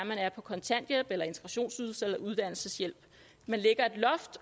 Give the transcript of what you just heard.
man er på kontanthjælp eller integrationsydelse eller uddannelseshjælp